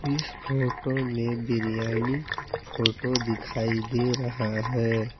इस फोटो में बिरयानी का फोटो दिखाई दे रहा है।